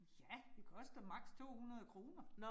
Ja, det koster maks. 200 kroner